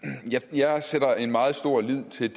jeg sætter meget stor lid til